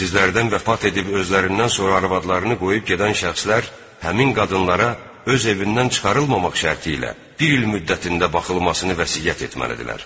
Sizlərdən vəfat edib özlərindən sonra arvadlarını qoyub gedən şəxslər həmin qadınlara öz evindən çıxarılmamaq şərti ilə bir il müddətində baxılmasını vəsiyyət etməlidirlər.